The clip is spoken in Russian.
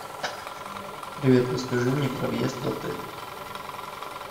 привет расскажи мне про въезд в отель